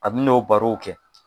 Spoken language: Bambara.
A bɛ n'o barow kɛ